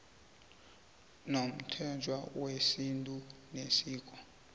nomthetho wesintu nesiko